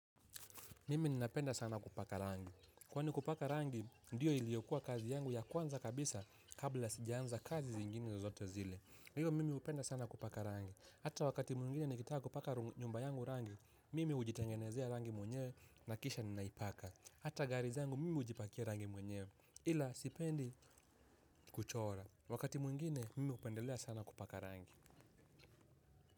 Mimi ninapenda sana kupaka rangi. Kwani kupaka rangi, ndiyo iliokua kazi yangu ya kwanza kabisa kabla sijaanza kazi zingine zozote zile. Ndiyo, mimi hupenda sana kupaka rangi. Hata wakati mwengine nikitaka kupaka nyumba yangu rangi, mimi hujitengenezea rangi mwenyewe na kisha ninaipaka. Hata gari zangu, mimi hujipakia rangi mwenyewe. Ila, sipendi kuchora. Wakati mungine, mimi upendelea sana kupaka rangi.